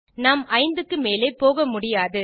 நாம் 5 க்கு மேல் போக முடியாது